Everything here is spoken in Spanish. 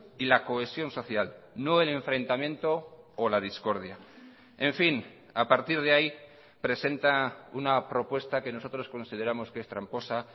y la cohesión social no el enfrentamiento o la discordia en fin a partir de ahí presenta una propuesta que nosotros consideramos que es tramposa